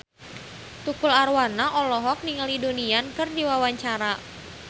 Tukul Arwana olohok ningali Donnie Yan keur diwawancara